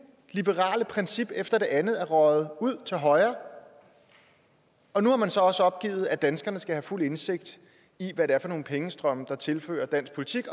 liberale princip efter det andet er røget ud til højre og nu har man så også opgivet at danskerne skal have fuld indsigt i hvad det er for nogle pengestrømme der tilføres dansk politik